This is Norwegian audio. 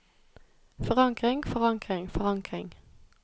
forankring forankring forankring